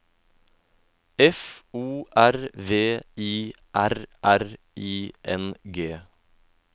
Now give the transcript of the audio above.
F O R V I R R I N G